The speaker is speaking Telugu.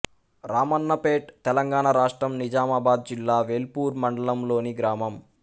రామన్నపేట్ తెలంగాణ రాష్ట్రం నిజామాబాద్ జిల్లా వేల్పూర్ మండలంలోని గ్రామం